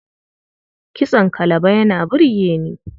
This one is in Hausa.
Kitson kalaba yana burge ni.